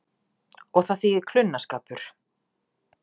Og það þýðir klunnaskapur.